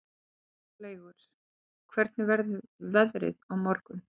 Háleygur, hvernig verður veðrið á morgun?